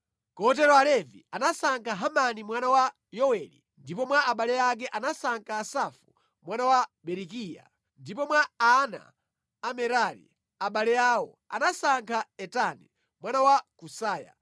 Kotero Alevi anasankha Hemani mwana wa Yoweli; ndipo mwa abale ake anasankha Asafu mwana wa Berekiya; ndipo mwa ana a Merari, abale awo, anasankha Etani mwana wa Kusaya;